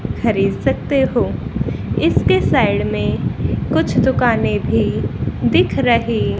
खरीद सकते हो इसके साइड में कुछ दुकानें भी दिख रही--